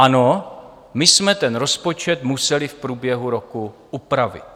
Ano, my jsme ten rozpočet museli v průběhu roku upravit.